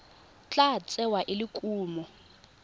tla tsewa e le kumo